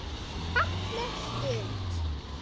Falleg stund.